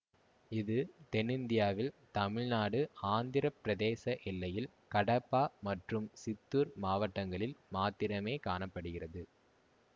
இது தென்னிந்தியாவில் தமிழ்நாடு ஆந்திர பிரதேச எல்லையில் கடப்பா மற்றும் சித்தூர் மாவட்டங்களில் மாத்திரமே காண படுகிறது